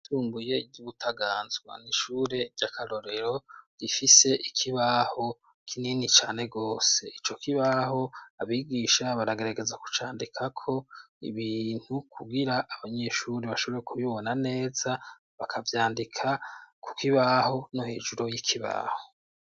Yunguye ry'ubutaganzwa na'ishure ry'akarorero gifise ikibaho kinini cane rwose ico kibaho abigisha baragarageza kucandika ko ibintu kugira abanyeshuri bashobore kubibona neza bakavyandika, kuko ibaho no hejuru y'ikibaho.